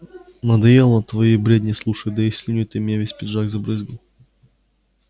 надоело твои бредни слушать да и слюной ты мне весь пиджак забрызгал